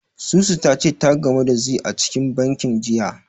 Susu ta ce ta gamu da Zee a cikin bankin, jiya.